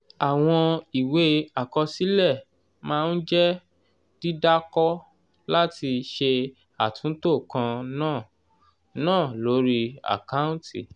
àwọn ìwé àkọsílẹ̀ máa ń jẹ́ dídàkọ láti ṣe àtúntò kan náà náà lórí àkáǹtì.